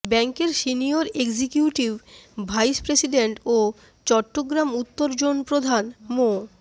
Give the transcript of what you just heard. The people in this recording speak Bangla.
ব্যাংকের সিনিয়র এক্সিকিউটিভ ভাইস প্রেসিডেন্ট ও চট্টগ্রাম উত্তর জোন প্রধান মো